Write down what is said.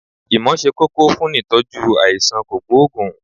ìmọ̀ se kókó funìitọ́jú aisan kogboogun